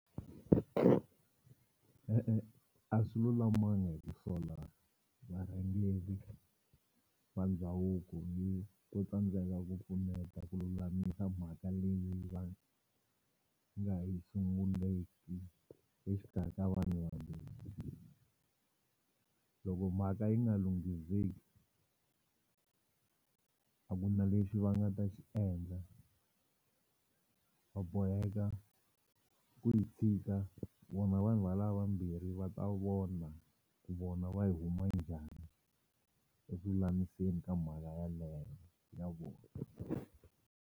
E-e a swi lulamanga hi ku sola varhangeri va ndhavuko ni ku tsandzeka ku pfuneta ku lulamisa mhaka leyi va nga yi sunguleki exikarhi ka vanhu vahambirhi loko mhaka yi nga lunghiseki a ku na lexi va nga ta xi endla va boheka ku yi tshika vona vanhu valava vambirhi va ta vona ku vona va yi huma njhani eku lamiseni ka mhala yaleyo na vona.